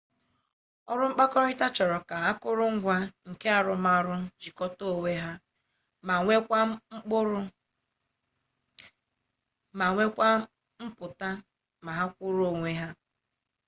ọrụ mkpakọrịta chọrọ ka akụrụngwa nke arụmarụ jikọta onwe ha ma nweekwa mpụtara ma ha kwụrụ n'onwe ha